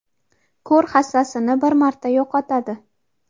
ko‘r hassasini bir marta yo‘qotadi.